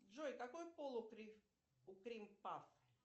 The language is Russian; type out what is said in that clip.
джой какой пол у крим пав